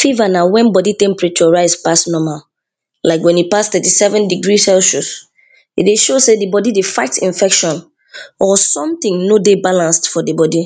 Fever na wen body temperature rise pass normal Like wen e pass thirty seven degree celsius, e dey show sey di body dey fight infection or something no dey balance for di body.